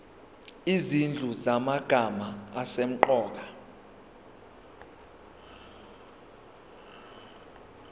izinhlu zamagama asemqoka